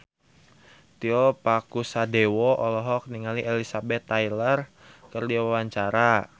Tio Pakusadewo olohok ningali Elizabeth Taylor keur diwawancara